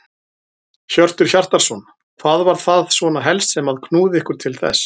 Hjörtur Hjartarson: Hvað var það svona helst sem að knúði ykkur til þess?